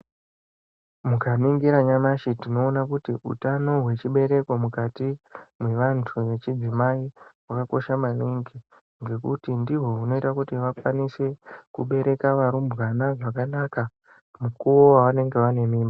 Mukaningira nyamashi tinoona kuti utano hwechibereko mukati mwevantu vechidzimai hwakakosha maningi. Ngekuti ndihwo hunoita kuti vakwanise kubereka varumbwana zvakanaka mukuwo wavanenge vanemi...